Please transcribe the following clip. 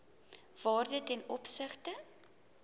waarde ten opsigte